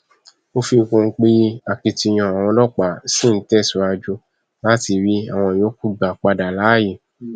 ó fi kún un pé akitiyan àwọn ọlọpàá ṣì ń tẹsíwájú láti rí àwọn yòókù gbà padà láàyè